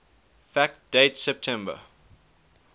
fact date september